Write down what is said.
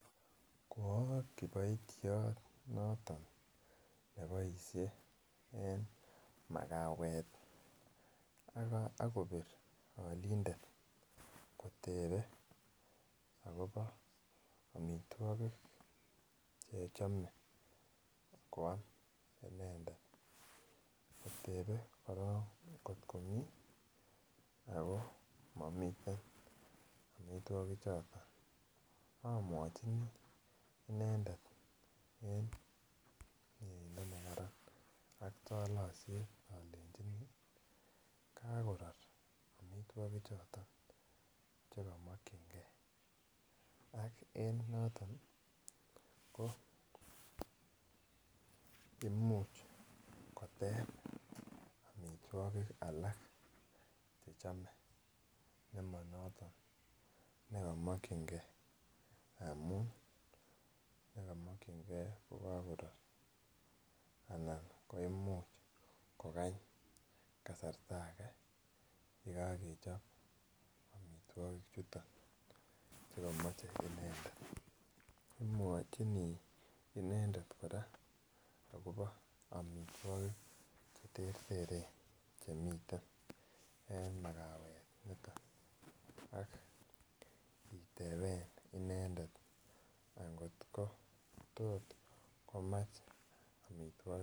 Ko oo kiboityot noton ne boishe en makawet ii ak kobir olindet kotebe akobo omitwokik che chome koam inendet kotebe korong kot komii anan momiten omitwokik choton omwochini inendet en meyeindo ne kararan ak tolosiet olechini kakoror omitwokik choton che komokyingee ak en noton ko imuch koteb omitwokik alak che chome che komo choton che komokyingee amun choton che komokyingee ko kakoror anan ko imuch kogany kasarta agee ye kakechob omitwokik chuton che komoche inendet. Imwochini inendet koraa akobi omitwokik che terteren che miten en makawet niton ak iteben inendet ango tot komach omitwokik